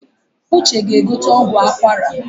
Uche ga-egote ọgwụ akwara